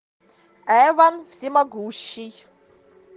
эван всемогущий